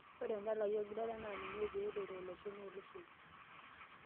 ore endala ai olgita naa ninye pee aloito iloshon oo iloshon